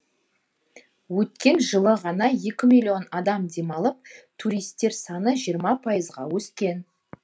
өткен жылы ғана екі миллион адам демалып туристер саны жиырма пайызға өскен